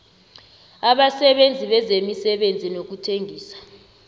abasebenzi bezemisebenzi nokuthengisa